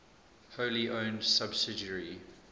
wholly owned subsidiary